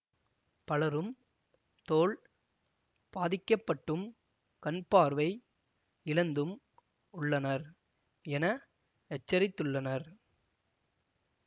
பலரும் தோல் பாதிக்கப்பட்டும் கண்பார்வை இழந்தும் உள்ளனர் என எச்சரித்துள்ளனர்